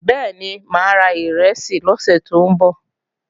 Bẹ́ẹ̀ni, máa ra ìrẹsì lọ́sè tó ń bọ̀